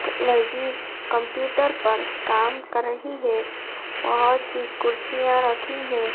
लड़की कंप्यूटर पर काम कर रही है बहोत सी कुर्सियां रखी है।